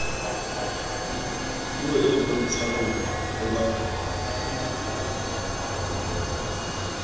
puo e bontshang ho ba